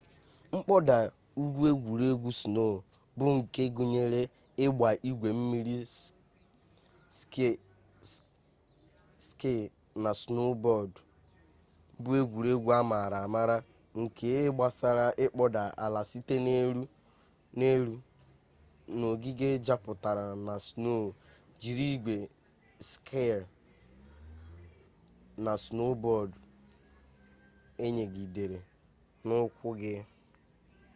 kpoda-ugwu egwuregwu-snow bu nke gunyere igba igwe mmiri ski na snowboard bu egwuregwu amaara-amaara nke gbasara ikpoda ala site n'elu n'ogige juputara na snow jiri igwe ski na snowboard eyigidere n'ukwu gi